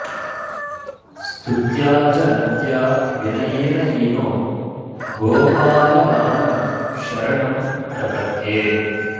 स्तुत्या च नत्या विनयेन हीनो गोपाललालं शरणं प्रपद्ये